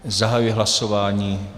Zahajuji hlasování.